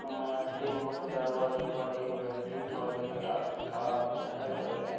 मुख्य दरवाज़े पर एक व्यक्ति तौलिया डाले खड़ा हुआ है और एक में --